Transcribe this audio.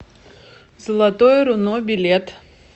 золотое руно билет